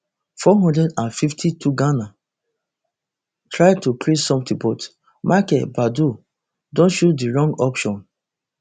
four hundred and fifty-twoghana try to create sometin but michael baidoo don choose di wrong option